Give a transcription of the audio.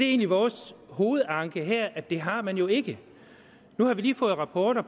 egentlig vores hovedanke her altså at det har man jo ikke nu har vi lige fået rapporter